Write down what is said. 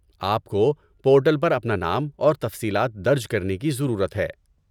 آپ کو پورٹل پر اپنا نام اور تفصیلات درج کرنے کی ضرورت ہے۔